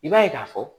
I b'a ye k'a fɔ